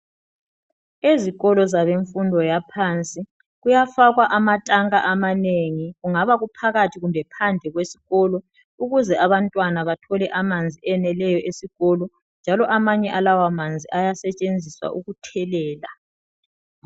ezikolo zabemfundo yaphansi kuyafakwa amatanka amanengi kungaba kuphakathi loba phandle kwesikolo ukuze abantwana bathole amanzi eneleyo esikolo njalo amanye alawa manzi ayasetshenziswa ukuthelela